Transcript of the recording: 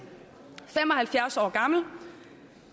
fem og halvfjerds år gammel